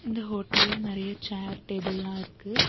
இந்த ஹோட்டல நெறைய சேர் டேபிள்லா இருக்கு.